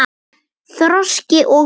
Þroski og nám